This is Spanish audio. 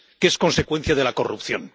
que son consecuencia de la corrupción.